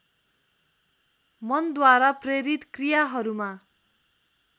मनद्वारा प्रेरित क्रियाहरूमा